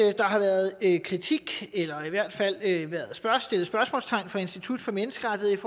det er kritik eller i hvert fald stillet spørgsmålstegn fra institut for menneskerettigheders